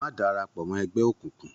Má darapọ̀ mọ́ ẹgbẹ́ òkùnkùn.